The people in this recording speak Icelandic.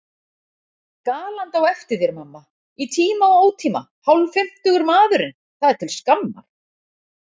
Galandi á eftir þér mamma! í tíma og ótíma, hálffimmtugur maðurinn, það er til skammar.